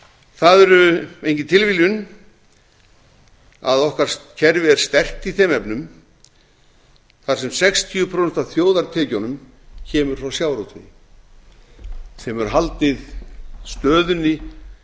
það er engin tilviljun að okkar kerfi er sterkt í þeim efnum þar sem sextíu og fimm prósent af þjóðartekjunum koma frá sjávarútvegi sem hefur haldið stöðunni